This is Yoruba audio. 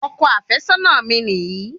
Ọkọ àfẹ́sọ́nà mi niyi